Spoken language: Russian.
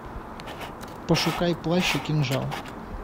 пошукай плащ и кинжал